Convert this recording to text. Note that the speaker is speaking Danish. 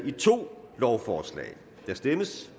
i to lovforslag der stemmes